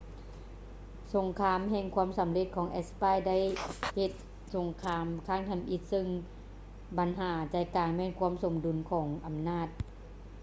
ສົງຄາມແຫ່ງຄວາມສຳເລັດຂອງແອັດສະປາຍໄດ້ເຮັດສົງຄາມຄັ້ງທຳອິດເຊິ່ງບັນຫາໃຈກາງແມ່ນຄວາມສົມດຸນຂອງອຳນາດ